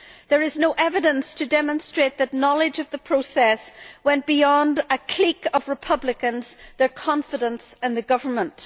There is no evidence to demonstrate that knowledge of the process went beyond a clique of Republicans, their confidants and the government.